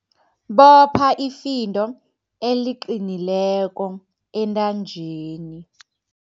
Bopha ifindo eliqinileko entanjeni.